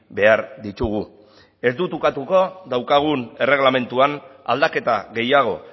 behar ditugu ez dut ukatuko daukagun erregelamenduan aldaketa gehiago